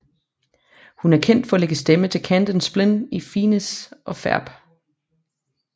Hun er kendt for at lægge stemme til Candace Flynn i Phineas og Ferb